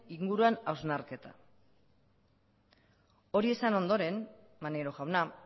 inguruan hausnarketa hori esan ondoren maneiro jauna